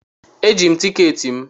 Eji m tikeeti m.